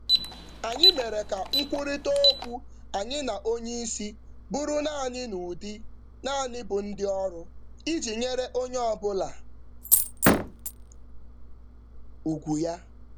Anyị nọgidere na-ekwurịta okwu n’ụzọ doro anya na nke kwesịrị ekwesị iji nọgide na-enwe oke ala na oga.